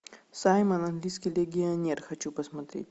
саймон английский легионер хочу посмотреть